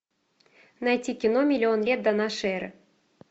найти кино миллион лет до нашей эры